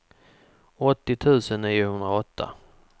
åttio tusen niohundraåtta